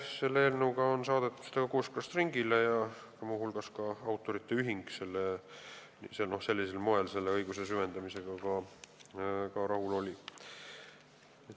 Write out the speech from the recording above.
See eelnõu on saadetud kooskõlastusringile ja muu hulgas oli autorite ühing sellisel moel õiguse süvendamisega rahul.